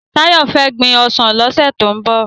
Tayo fè gbin òsán lòsè tó n bò